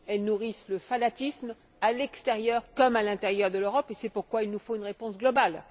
Elles nourrissent le fanatisme à l'extérieur comme à l'intérieur de l'Europe et c'est pourquoi il nous faut une réponse globale.